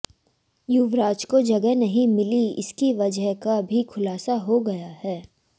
युवराज को जगह नहीं मिली इसकी वजह का भी खुलासा हो गया है